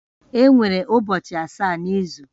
Enwere ụbọchị asaa n'izu